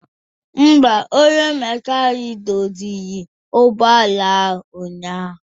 Mba, onye mekanik doziri ụgbọala ahụ ụnyaahụ